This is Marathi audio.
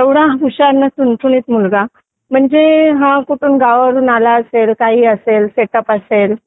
एवढा हुशार आणि चुनचुनित मुलगा म्हणजे हा कुठून गावावरून आला असेल का असेल सेटअप असेल